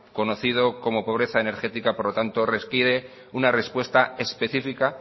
conocido como pobreza energética por tanto les pide una respuesta específica